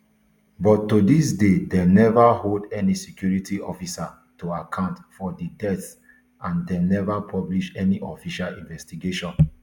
but to dis day dem neva hold any security officer to account for di deaths and dem neva publish any official investigation